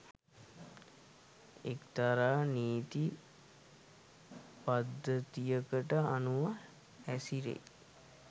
එක්තරා නීති පද්ධතියකට අනුව හැසිරෙයි